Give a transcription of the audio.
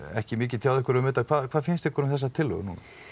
ekki mikið tjáð ykkur um þetta hvað finnst ykkur um þessa tillögu